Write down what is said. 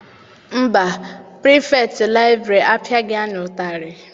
Mba, Pirifetktị liburary apiaghi anyị ụtarị.